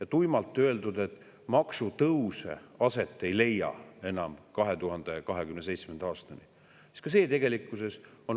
On tuimalt öeldud, et maksutõuse enam aset ei leia kuni 2027. aastani, aga ka see on tegelikkuses vale.